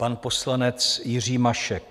Pan poslanec Jiří Mašek.